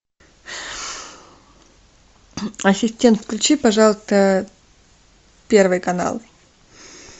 ассистент включи пожалуйста первый канал